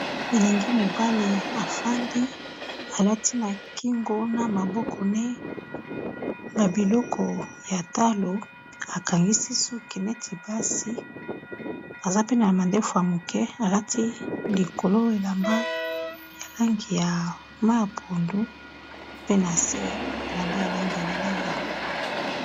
Eengi mobali afandi alati na kingo na maboko ne ba biloko ya talo akangisi suki neti basi, aza pe na mandefu ya moke alati likolo elamba ya langi ya mayi ya pondu pe na se elamba ya langi ya lilala.